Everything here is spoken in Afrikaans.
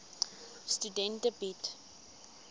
studente bied